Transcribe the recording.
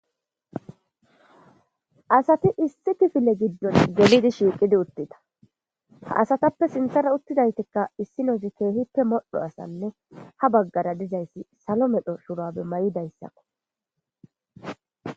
Asati issi tifile giddon gelidi shiiqidi uttita ha asatappe sinthara uttidaytikka issinozi keehippe modho asanne ha baggara dizayssi salo medho surabe may7idayssakko.